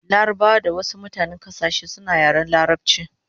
Larabawa da mutanen wasu kasashe suna yaren larabchi